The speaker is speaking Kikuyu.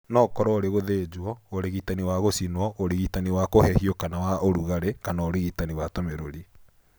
No ũkorwo ũrĩ gũthĩnjwo, ũrigitani wa gũcinwo, ũrigitani wa kũhehio kana wa ũrugarĩ kana ũrigitani wa tũmĩrũri.